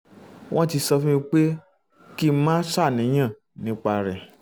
wọ́n ti sọ fún mi pé kí n má ṣàníyàn nípa rẹ̀